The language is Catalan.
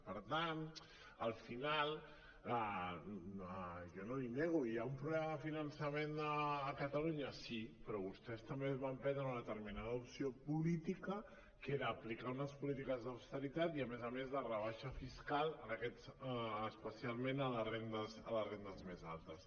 i per tant al final jo no l’hi nego hi ha un problema de finançament a catalunya sí però vostès també van prendre una determinada opció política que era aplicar unes polítiques d’austeritat i a més a més de rebaixa fiscal especialment a les rendes més altes